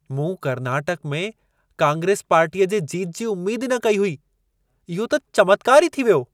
मूं कर्नाटक में कांग्रेस पार्टीअ जे जीत जी उमेद ई न कई हुई। इहो त चमत्कार ई थी वियो।